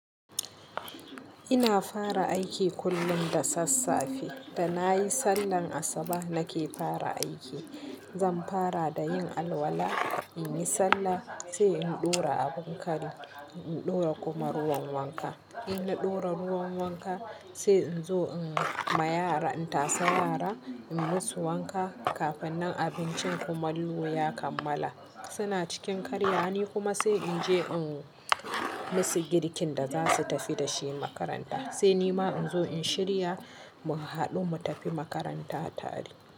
Ina fara aiki kullum da sassafe da na yi sallar asubah nake fara aiki. Zan fara da yin alwala, in yi sallah sai in ɗora abin kari in ɗora kuma ruwan wanka. Ina ɗora ruwan wanka sai in zo in ma yara, in tasa yara, in musu wanka kafin nan abincin kumaallo ya kammala. Suna cikin karya ni kuma sai in je in musu girkin da za su tafi da shi makaranta. Sai ni ma in zo in shirya mu haɗu mu tafi makaranta tare.